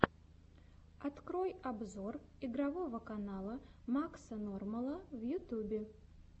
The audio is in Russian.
открой обзор игрового канала макса нормала в ютьюбе